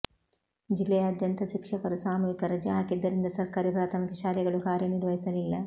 ಜಿಲ್ಲೆಯಾದ್ಯಂತ ಶಿಕ್ಷಕರು ಸಾಮೂಹಿಕ ರಜೆ ಹಾಕಿದ್ದರಿಂದ ಸರ್ಕಾರಿ ಪ್ರಾಥಮಿಕ ಶಾಲೆಗಳು ಕಾರ್ಯ ನಿರ್ವಹಿಸಿಲಿಲ್ಲ